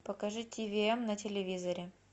покажи ти ви эм на телевизоре